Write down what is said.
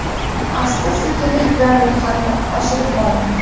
Asta-sekinlik bilan ro‘yxatni oshirib boring.